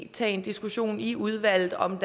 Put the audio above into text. tage en diskussion i udvalget om